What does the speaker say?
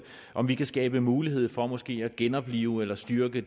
om vi fremadrettet kan skabe mulighed for måske at genoplive eller styrke